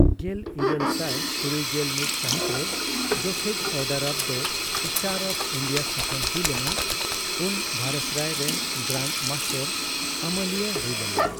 ᱜᱮᱞᱤᱨᱟᱹᱞ ᱥᱟᱭ ᱛᱩᱨᱩᱭᱜᱮᱞ ᱢᱤᱛ ᱥᱟᱹᱦᱤᱛ ᱨᱮ ᱡᱚᱠᱷᱮᱡᱽ Order of the Star of India ᱛᱷᱟᱯᱚᱱ ᱦᱩᱭ ᱞᱮᱱᱟ, ᱩᱱ ᱵᱷᱟᱭᱤᱥᱨᱚᱭ ᱨᱮᱱ ᱜᱨᱟᱱᱰ ᱢᱟᱥᱴᱟᱨ ᱟᱹᱢᱟᱹᱞᱤᱭᱟᱹ ᱦᱩᱭᱞᱮᱱᱟ ᱾